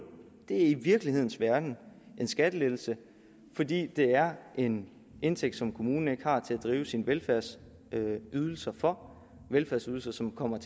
er i virkelighedens verden en skattelettelse fordi det er en indtægt som kommunen ikke har til at drive sine velfærdsydelser for velfærdsydelser som kommer